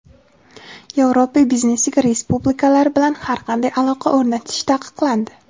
Yevropa biznesiga respublikalar bilan har qanday aloqa o‘rnatish taqiqlandi;.